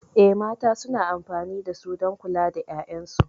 Eh, mata suna amfani da su don kula da 'ya'yansu.